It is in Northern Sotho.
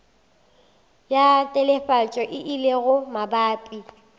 ya telefatšo e lego mabapi